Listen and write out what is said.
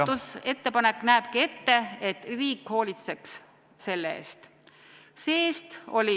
Minu muudatusettepanek näebki ette, et riik hoolitseks selle eest.